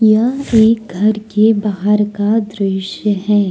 यह एक घर के बाहर का दृश्य है।